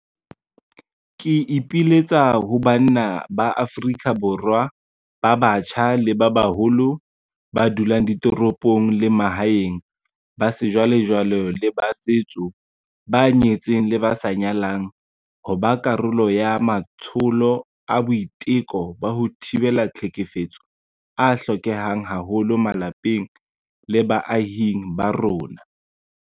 Ke ipiletsa ho banna ba Afrika Borwa ba batjha le ba baholo, ba dulang ditoropong le ba mahaeng, ba sejwalejwale le ba setso, ba nyetseng le ba sa nyalang, ho ba karolo ya matsholo a boiteko ba ho thibela tlhekefetso a hlokehang haholo malapeng le baahing ba rona.